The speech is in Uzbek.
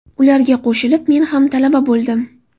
Ularga qo‘shilib men ham talaba bo‘ldim.